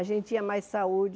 A gente tinha mais saúde.